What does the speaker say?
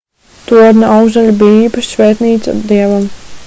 torņa augšdaļa bija īpaša svētnīca dievam